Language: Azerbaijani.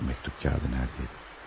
Şu məktub kağızı harda idi?